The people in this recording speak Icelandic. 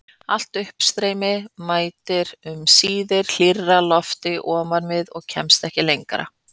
Allt uppstreymi mætir um síðir hlýrra lofti ofan við og kemst ekki lengra.